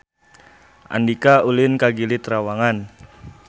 Andika ulin ka Gili Trawangan